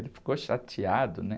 Ele ficou chateado, né?